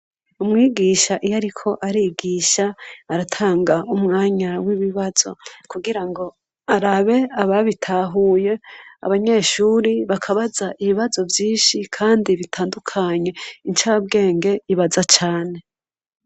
Umwigisha iyo, ariko arigisha aratanga umwanya w'ibibazo kugira ngo arabe ababitahuye abanyeshuri bakabaza ibibazo vy'inshi, kandi bitandukanye incabwenge ibaza cane.